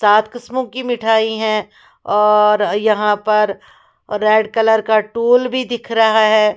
सात किस्मों की मिठाई हैं और यहां पर रेड कलर का टूल भी दिख रहा है।